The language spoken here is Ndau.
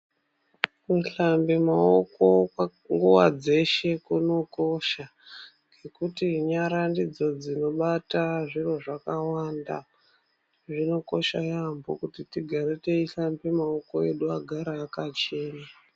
Kuhlambe maoko nguwa dzeshe kunokosha ngekuti nyara ndidzo dzinobata zviro zvakawanda zvinokosha yambo kuti tigare tehlambe maoko edu agare akachena